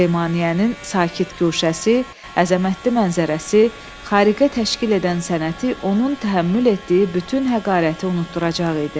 Süleymaniyyənin sakit guşəsi, əzəmətli mənzərəsi, xariqə təşkil edən sənəti onun təhəmmül etdiyi bütün həqarəti unutduracaq idi.